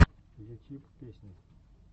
ютьюб песни